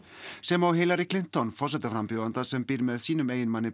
sem og Hillary forsetaframbjóðanda sem býr með sínum eiginmanni